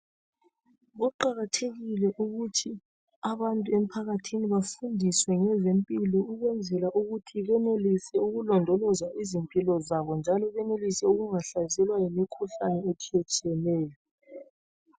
Kuqakathekile ukuthi abantu emphakathini bafundiswe ngeze mpilo ukwenzela ukuthi benelise ukulondoloza izimpilo zabo njalo benelise ukungahlaselwa yimikhuhlane etshiyetshiyeneyo.